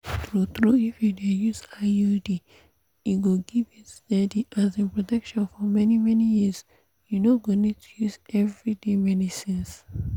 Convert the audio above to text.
true-true if you dey use iud e go give you steady um protection for many-many years. you no go need to use everyday medicines.